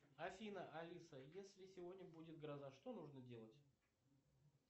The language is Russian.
афина алиса если сегодня будет гроза что нужно делать